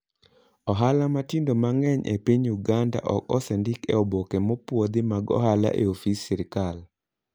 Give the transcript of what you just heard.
Ohala matindo mang'eny e piny Uganda ok osendik e oboke mopuodhi mag ohala ei ofis sirkal.